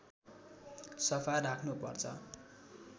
सफा राख्नुपर्छ